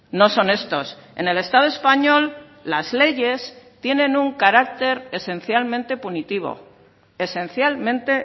no son estos en el estado español las leyes tienen un carácter esencialmente punitivo esencialmente